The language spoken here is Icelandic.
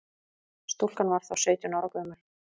Stúlkan var þá sautján ára gömul